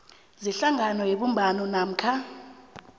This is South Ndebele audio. zehlangano yebumbano namkha